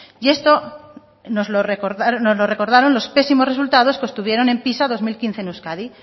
y esto nos lo recordaron los pésimos resultados que obtuvieron en pisa en bi mila hamabost en euskadi